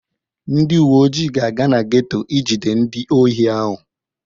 Ndị uwe ojii ga-aga na geto ijide ndị ohi ahụ.